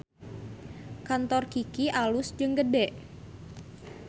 Kantor Kiky alus jeung gede